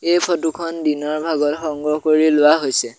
এই ফটো খন দিনৰ ভাগত সংগ্ৰহ কৰি লোৱা হৈছে।